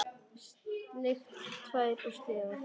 Sleikt tær og slefað.